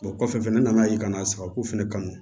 kɔfɛ fɛnɛ ne nana ye ka na sagako fɛnɛ kanu